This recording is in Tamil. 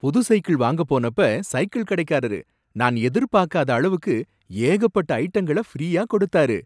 புது சைக்கிள் வாங்க போனப்ப, சைக்கிள் கடைக்காரரு நான் எதிர்பாக்காத அளவுக்கு ஏகப்பட்ட ஐட்டங்கள ஃப்ரீயா கொடுத்தாரு.